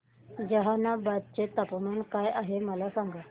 जहानाबाद चे तापमान काय आहे मला सांगा